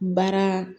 Baara